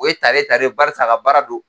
O ye tare tare barisa a ka baara do.